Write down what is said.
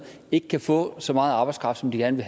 ikke kan få så meget arbejdskraft som de gerne